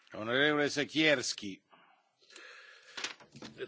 Ta propozycja wieloletnich ram finansowych jest szczególna.